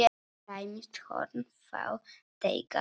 Tæmist horn þá teygað er.